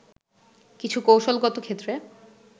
কিছু কৌশলগত ক্ষেত্রে